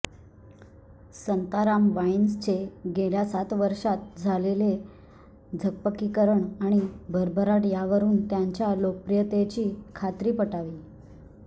Santaram Wines चे गेल्या सात वर्षात झालेले झकपकीकरण आणि भरभराट यावरुन त्यांच्या लोकप्रियतेची खात्री पटावी